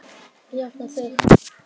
Jafna sig?